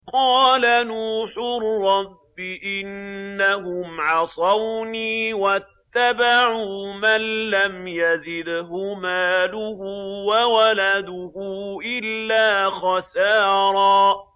قَالَ نُوحٌ رَّبِّ إِنَّهُمْ عَصَوْنِي وَاتَّبَعُوا مَن لَّمْ يَزِدْهُ مَالُهُ وَوَلَدُهُ إِلَّا خَسَارًا